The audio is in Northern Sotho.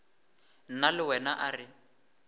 nna le wena a re